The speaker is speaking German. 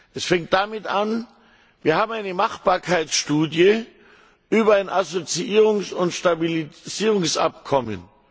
Es fängt damit an Wir haben eine Machbarkeitsstudie über ein Assoziierungs und Stabilisierungsabkommen.